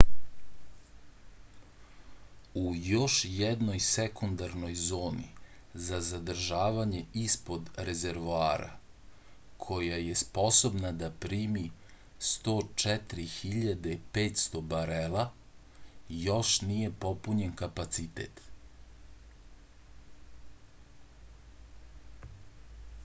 u još jednoj sekundarnoj zoni za zadržavanje ispod rezervoara koja je sposobna da primi 104.500 barela još nije popunjen kapacitet